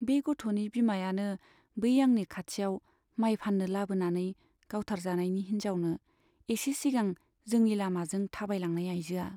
बे गथ'नि बिमायानो , बै आंनि खाथियाव माइ फान्नो लाबोनानै गावथारजानायनि हिन्जावानो एसे सिगां जोंनि लामाजों थाबायलांनाय आइजोआ।